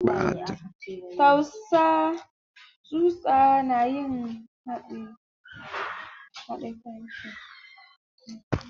Tsusa na yin haɗe kanshi.